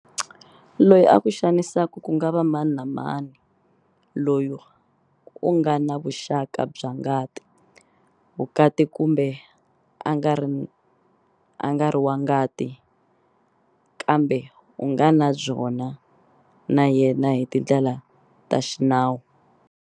Loyi a ku xanisaka ku nga va mani na mani loyi u nga na vuxaka bya ngati, vukati kumbe a nga ri wa ngati ka mbe u nga na byona na yena hi tindlela ta xinawu.